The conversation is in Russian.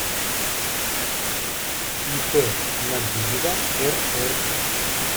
ип набиева рр